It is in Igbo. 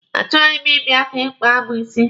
Achọghị m ịbịa ka ị kpaa mụ isi.